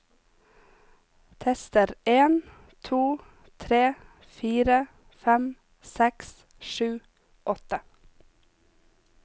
Tester en to tre fire fem seks sju åtte